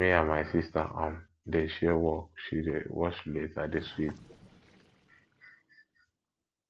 me and my sister um dey share work she dey wash plate i dey sweep